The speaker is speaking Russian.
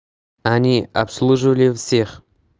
они обслуживали всех